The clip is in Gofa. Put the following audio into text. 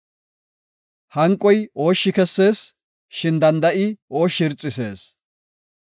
Hanqoy ooshshi kessees; shin danda7i ooshshi irxisees.